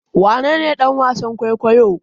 Wanene dan wasan kwaikwayo?